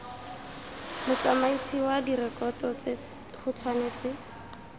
motsamaisi wa direkoto go tshwanetse